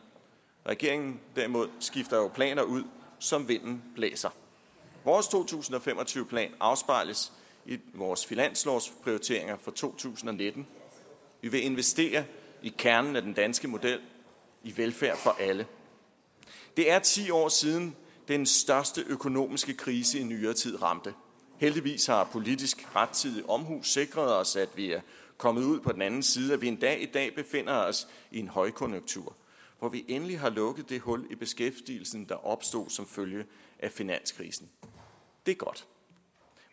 regeringen derimod skifter jo planer ud som vinden blæser vores to tusind og fem og tyve plan afspejles i vores finanslovsprioriteringer for to tusind og nitten vi vil investere i kernen af den danske model i velfærd for alle det er ti år siden den største økonomiske krise i nyere tid ramte heldigvis har politisk rettidig omhu sikret os at vi er kommet ud på den anden side og at vi endda i dag befinder os i en højkonjunktur hvor vi endelig har lukket det hul i beskæftigelsen der opstod som følge af finanskrisen det er godt